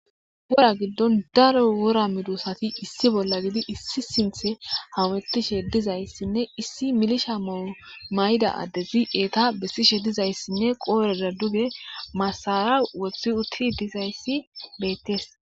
wora giddon daro wora midusati issi bolla gidi issi sinthe hawettishe dizayssinne issi milisha momayda addezi eeta bessishe dizayssinne qoorera duge masara wothi uttidi dizayssi beettes